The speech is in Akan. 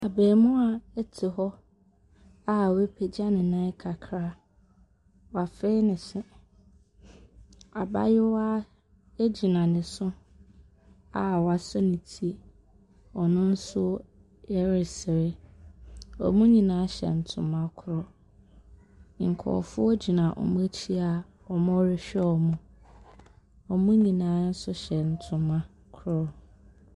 Abaamua te hɔ a wapagya ne nan kakra, wafee ne se. Abaayewa gyina ne so a wasɔ ne ti, ɔno nso ɛresere. Wɔn nyinaa hyɛ ntoma koro, nkurɔfoɔ gyina wɔn akyi a wɔrehwɛ wɔn. Wɔn nyina nso hyɛ ntoma koro.